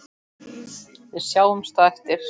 Við sjáumst á eftir.